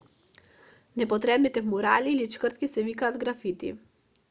непотребните мурали или чкртки се викаат графити